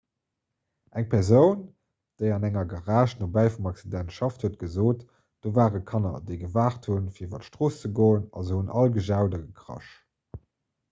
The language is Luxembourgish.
eng persoun déi an enger garage nobäi vum accident schafft huet gesot do ware kanner déi gewaart hunn fir iwwer d'strooss ze goen a se hunn all gejaut a gekrasch